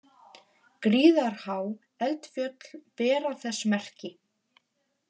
Gríðarhá eldfjöll bera þess merki.